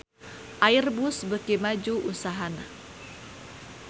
Airbus beuki maju usahana